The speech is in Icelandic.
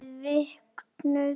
Vel vöknuð!